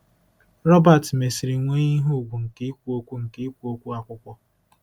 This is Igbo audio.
Robert mesịrị nwee ihe ùgwù nke ikwu okwu nke ikwu okwu akwụkwọ.